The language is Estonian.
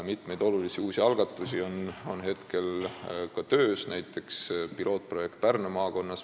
Mitu olulist uut algatust on ka töös, näiteks pilootprojekt Pärnu maakonnas.